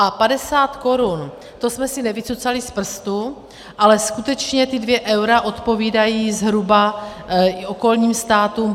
A 50 korun, to jsme si nevycucali z prstu, ale skutečně ta 2 eura odpovídají zhruba i okolním státům.